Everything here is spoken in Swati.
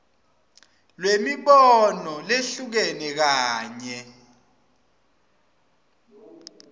lwemibono lehlukene kanye